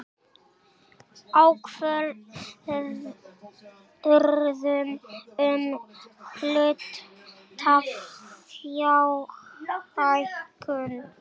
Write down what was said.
Ákvörðun um hlutafjárhækkun.